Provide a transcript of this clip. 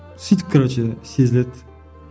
сөйтіп короче сезіледі